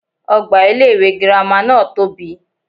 Ogbà ilé iwé girama náà tóbi